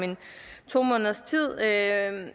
to måneders tid af